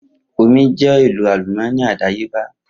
Omi jẹ́ ohun èlò àlùmọ́ọ́nì àdáyébá